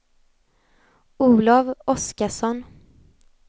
Olov Oskarsson